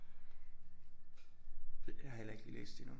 Jeg har heller ikke lige læst det endnu